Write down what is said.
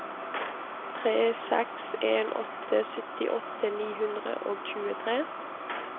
tre seks en åtte syttiåtte ni hundre og tjuetre